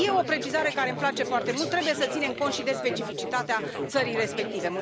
Este o precizare care îmi place foarte mult trebuie să ținem cont și de specificitatea țării respective.